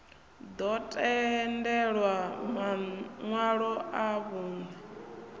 ḓo tendelwa maṋwalo a vhunṋe